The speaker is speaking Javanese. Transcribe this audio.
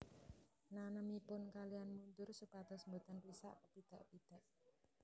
Nanemipun kaliyan mundur supados boten risak kepidak pidak